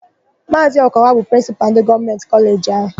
Maazị Okowa bụ Prịnsịpalụ ndị Gọọmentị kọleji áhù.